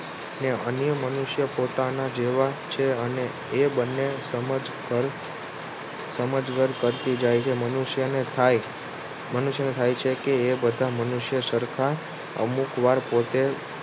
ને અન્ય મનુષ્ય પોતાના જેવા છે અને એ બંને સમજવર કરતી જાય છે મનુષ્યને થાય છે કે એ બધા મનુષ્ય સરખા અમુક વાર પોતે